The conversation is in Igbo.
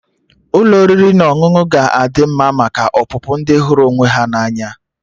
Ụlọ oriri na ọṅụṅụ ga adị mma maka ọpụpụ ndi hụrụ onwe ha na anya